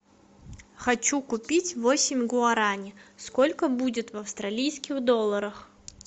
хочу купить восемь гуарани сколько будет в австралийских долларах